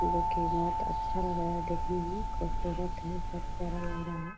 लेकिन बहुत अच्छा लग रहा है देखने मे खुबसूरत है बुहत प्यारा लग रहा है --